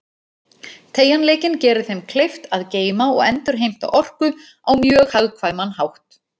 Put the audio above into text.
Teygjanleikinn gerir þeim kleift að geyma og endurheimta orku á mjög hagkvæman hátt.